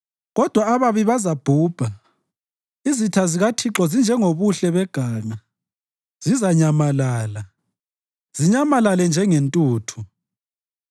Kodwa ababi bazabhubha; izitha zikaThixo zinjengobuhle beganga, zizanyamalala, zinyamalale njengentuthu.